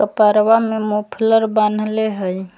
कपरवा में मुफ़्लर बांधले हई।